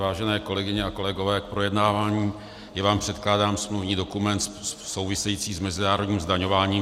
Vážené kolegyně a kolegové, k projednávání je vám předkládán smluvní dokument související s mezinárodním zdaňováním.